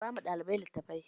Raba ma ɗalibai littafai!